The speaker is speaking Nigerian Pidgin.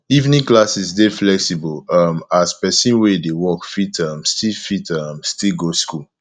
evening classes dey flexible um as person wey dey work fit um still fit um still go school